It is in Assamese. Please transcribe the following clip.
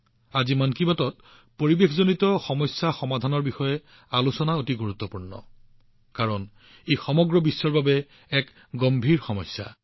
আজি সমগ্ৰ বিশ্বৰ সৈতে সম্পৰ্কিত পাৰিপাৰ্শ্বিক সমস্যা সমাধানৰ ক্ষেত্ৰত মন কী বাতৰ এই প্ৰচেষ্টা অতি গুৰুত্বপূৰ্ণ